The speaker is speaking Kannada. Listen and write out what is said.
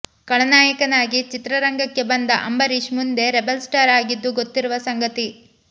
ಖಳನಾಯಕನಾಗಿ ಚಿತ್ರರಂಗಕ್ಕೆ ಬಂದ ಅಂಬರೀಶ್ ಮುಂದೆ ರೆಬಲ್ ಸ್ಟಾರ್ ಆಗಿದ್ದು ಗೊತ್ತಿರುವ ಸಂಗತಿ